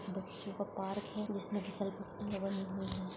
बच्चों का पार्क है जिसमे घसरगुंडी एवंम --